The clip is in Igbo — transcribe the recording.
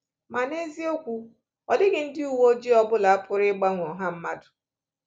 Ma n’eziokwu, ọ dịghị ndị uwe ojii ọ bụla pụrụ ịgbanwe ọha mmadụ.